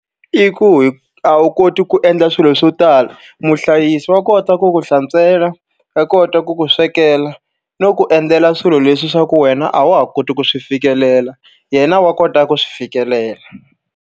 I ku a wu koti ku endla swilo swo tala. Muhlayisi wa kota ku ku hlantswela, wa kota ku ku swekela, no ku endzela swilo leswi swa ku wena a wa ha koti ku swi fikelela. Yena wa kota ku swi fikelela.